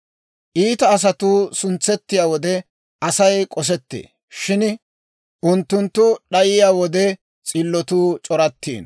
Iita asatuu suntsettiyaa wode, Asay k'osettee; shin unttunttu d'ayiyaa wode, s'illotuu c'orattiino.